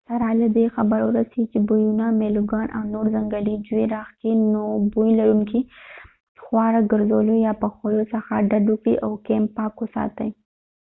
سره له دې خبر ووسئ چې بویونه میلوګان او نور ځنګلي ژوي راښکي نو بوی لرونکي خواړه ګرځولو یا پخولو څخه ډډ وکړئ او کېمپ پاک وساتئ